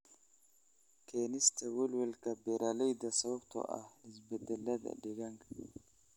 Keenista welwelka beeralayda sababtoo ah isbeddellada deegaanka.